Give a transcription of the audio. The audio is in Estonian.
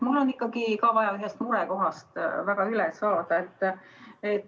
Mul on ikkagi ka väga vaja ühest murekohast üle saada.